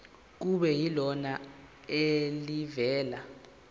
kube yilona elivela